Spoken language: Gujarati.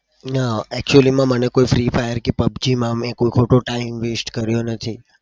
ના. actually માં મને કોઈ free fire કે pubg માં મેં ખોટો time waste કર્યો નથી.